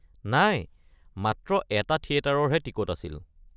নাই, মাত্ৰ এটা থিয়েটাৰৰহে টিকট আছিল।